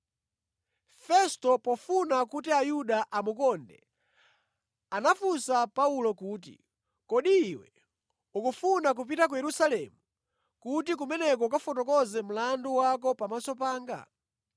Festo, pofuna kuti Ayuda amukonde anafunsa Paulo kuti, “Kodi iwe ukufuna kupita ku Yerusalemu, kuti kumeneko ukafotokoze mlandu wako pamaso panga?”